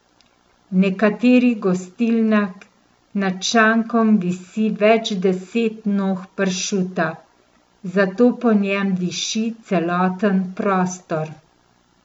V nekaterih gostilnah nad šankom visi več deset nog pršuta, zato po njem diši celoten prostor.